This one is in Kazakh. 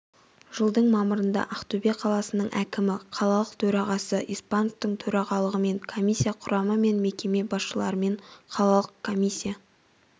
жылдың мамырында ақтөбе қаласының әкімі қалалық төрағасы испановтың төрағалығымен комиссия құрамы мен мекеме басшыларымен қалалық комиссия